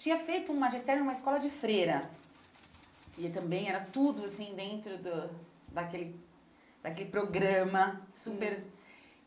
tinha feito um magistério numa escola de freira, que também era tudo assim dentro do daquele daquele programa super.